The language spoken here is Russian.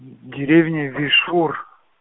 деревня вишур